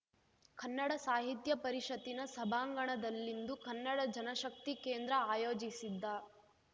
ಕನ್ನಡ ಸಾಹಿತ್ಯ ಪರಿಷತ್ತಿನ ಸಭಾಂಗಣದಲ್ಲಿಂದು ಕನ್ನಡ ಜನಶಕ್ತಿ ಕೇಂದ್ರ ಆಯೋಜಿಸಿದ್ದ